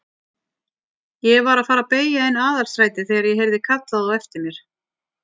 Ég var að fara að beygja inn Aðalstrætið þegar ég heyrði kallað á eftir mér.